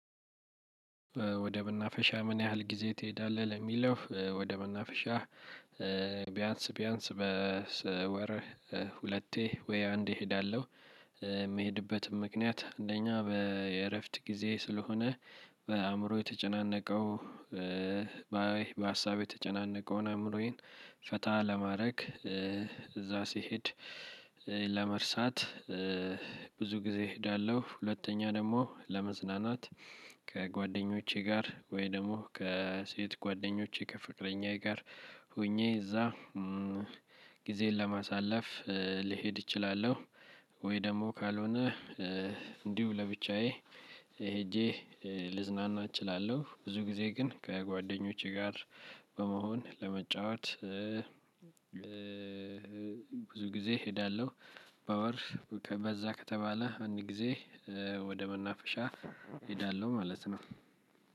ወደ መናፈሻ ምን ያህል ጊዜ ትሄዳለህ? ለሚለው ወደ መናፈሻ ቢያንስ ቢያንስ በስወር ሁለቴ ወይ አንዴ እሄዳለሁ። የምሄድበትም ምክንያት አንደኛ በየእረፍት ጊዜ ስለሆነ። በአእምሮ የተጨናነቀው በሀሳብ የተጨናነቀውን አምሮዬን ፈታ ለማድረግ እዛ ስሄድ። ለመርሳት ብዙ ጊዜ እሄዳለሁ። ሁለተኛ ደግሞ ለመዝናናት። ከጓደኞቼ ጋር ወይ ደግሞ ከሴት ጓደኞቼ ከፍቅረኛዬ ጋር ሆኜ እዛ ጊዜን ለማሳለፍ ልሄድ እችላለሁ። ወይ ደግሞ ካልሆነ እንዲሁ ለብቻዬ ሄጄ ልዝናና እችላለሁ። ብዙ ጊዜ ግን ከጓደኞቼ ጋር በመሆን ለመጫወት ብዙ ጊዜ እሄዳለሁ። በወር በዛ ከተባለ አንድ ጊዜ ወደ መናፈሻ እሄዳለሁ ማለት ነው።